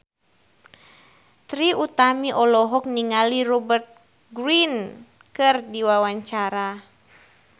Trie Utami olohok ningali Rupert Grin keur diwawancara